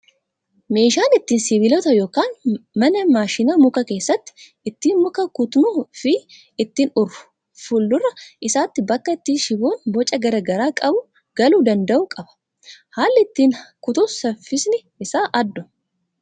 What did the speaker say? Meeshaan ittiin sibiilota yookaan mana maashina mukaa keessatti ittiin muka kutnuu fi ittiin urru, fuuldura isaatti bakka itti shiboon boca garaagaraa qabu galuu danda'u qaba. Haalli ittiin kutus saffisni isaa adduma.